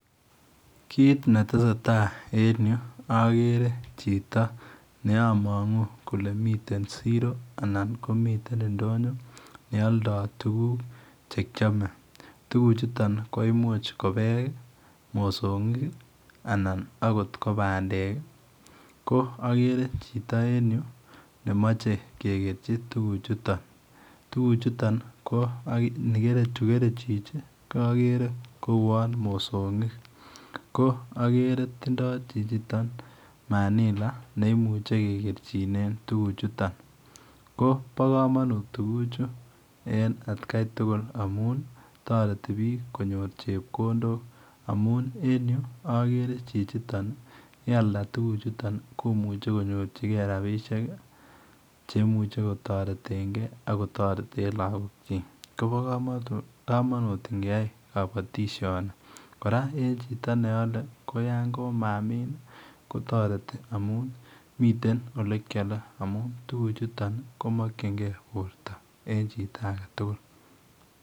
Kit ne tesetai en agere chitoo ne amangu kole mitten siro anan komi ten ndonyo ne aldaa tugul che kiame tuguk chutoon ko I much ko beek ,mosongik ko agere chitoo ne machei kegerjii tuguk chutoon, tuguk chutoon chu kerei chichi kagere kowuan mosongik ko agere tindoi chichi toon manila neimuchei kegerjinen tuguk chutoon ko bo kamanut amuun taretii biik konyoor chepkondok amuun en yu agere ye aldaa tuguk chutoon komuchei konyorjigei chepkondok cheimuichei kotareten gei ako tareten lagoon kyiik kobaa kamanut ingeyai boisioni bo kabatisyeet ,kora en chito ne Yale ko yaan matindoi kotaretii amuun mitten ole keyaleen amun tuguk chutoon komakyigei borto en chiito age tugul.